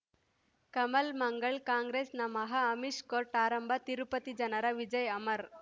ಕಮಲ್ ಮಂಗಳ್ ಕಾಂಗ್ರೆಸ್ ನಮಃ ಅಮಿಷ್ ಕೋರ್ಟ್ ಆರಂಭ ತಿರುಪತಿ ಜನರ ವಿಜಯ ಅಮರ್